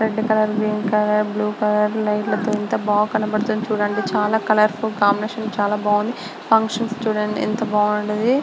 Red colour blue colour green colour light ల తో ఎంత బా కనబడుతుంది చుడండి. చాలా కాలర్ఫుల్ కాంబినేషన్ చాలా బాగుంది. ఫంక్షన్స్ చుడండి ఎంత బాగుండేది.